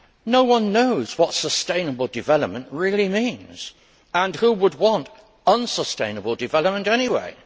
No one knows what sustainable development really means and who would want unsustainable development anyway?